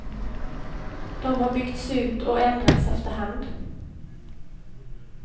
De har byggts ut och ändrats efter hand.